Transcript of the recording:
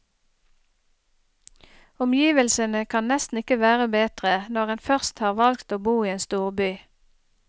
Omgivelsene kan nesten ikke være bedre, når en først har valgt å bo i en storby.